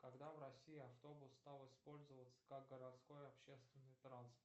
когда в россии автобус стал использоваться как городской общественный транспорт